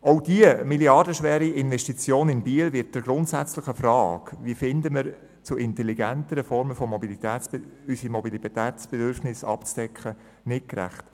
Auch die milliardenschwere Investition in Biel wird der grundsätzlichen Frage, wie wir zu intelligenteren Formen finden, unsere Mobilitätsbedürfnisse abzudecken, nicht gerecht.